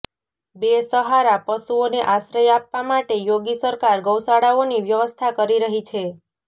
બેસહારા પશુઓને આશ્રય આપવા માટે યોગી સરકાર ગૌશાળાઓની વ્યવસ્થા કરી રહી છે